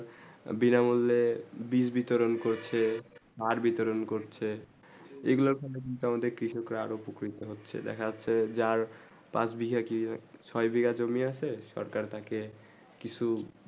বিনা মূল্যে বীজ বিতরণ করছে বার বিতরণ করছে এই গুলু কারণ আমাদের আরও প্রক্ষিত্রে হচ্ছেই দেখা যাচ্ছে যার পাঁচ বিঘা ছয়ে বিঘা জমিন আছে সরকার তাকে কিছু